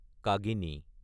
কাগিনী